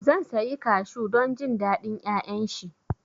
Zan sayi Kashu don jin daɗin ƴaƴan shi